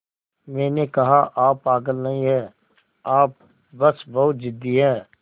मैंने कहा आप पागल नहीं हैं आप बस बहुत ज़िद्दी हैं